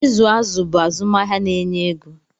ịzụ azụ̀ bụ azụmahịa na-enye ego